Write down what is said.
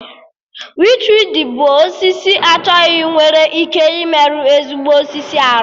Wichwidi bụ osisi achọghị nwere ike ịmerụ ezigbo osisi arụ